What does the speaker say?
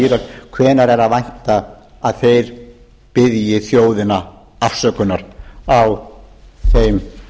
írak hvenær er að vænta að þeir biðji þjóðina afsökunar á þeim